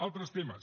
altres temes